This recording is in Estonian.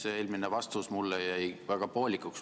See eelmine mulle antud vastus jäi väga poolikuks.